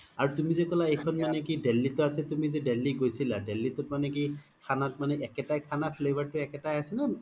আৰু যে তুমি ক্'লা এইখন দিল্লিত আছে তুমি যে দিল্লি গৈছিলা দিল্লিৰ তোত মানে কি খানাত মানে কি একেতাই খানা flavor তো একেতাই আছে নে?